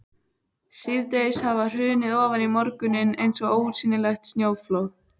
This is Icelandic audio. Síðdegið hafði hrunið ofan í morguninn eins og ósýnilegt snjóflóð.